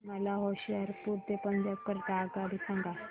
मला होशियारपुर ते पंजाब करीता आगगाडी सांगा